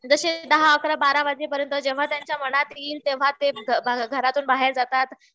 जशे दहा अकरा बारा वाजेपर्यंत जेव्हा त्यांच्या मनात येईल तेव्हा ते घरातून बाहेर जातात.